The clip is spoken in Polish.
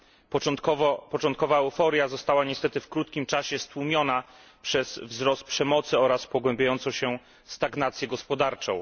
Początkowa euforia została niestety w krótkim czasie stłumiona przez wzrost przemocy oraz pogłębiającą się stagnację gospodarczą.